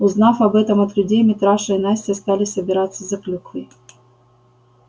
узнав об этом от людей митраша и настя стали собираться за клюквой